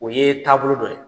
O ye taabolo dɔ ye.